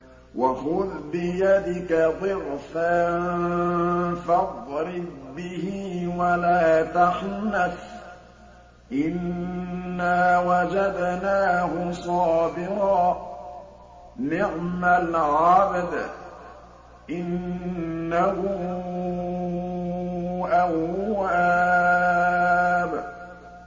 وَخُذْ بِيَدِكَ ضِغْثًا فَاضْرِب بِّهِ وَلَا تَحْنَثْ ۗ إِنَّا وَجَدْنَاهُ صَابِرًا ۚ نِّعْمَ الْعَبْدُ ۖ إِنَّهُ أَوَّابٌ